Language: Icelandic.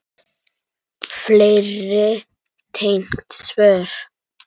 Fleiri tengd svör